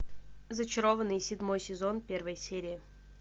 зачарованные седьмой сезон первая серия